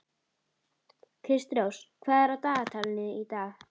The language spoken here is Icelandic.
Kristrós, hvað er á dagatalinu í dag?